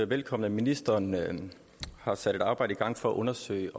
velkommen at ministeren har sat et arbejde i gang for at undersøge